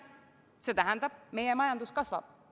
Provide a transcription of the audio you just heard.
See tähendab, et meie majandus kasvab.